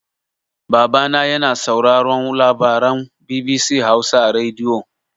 Babana yana sauraron labaran BBC Hausa a rediyo.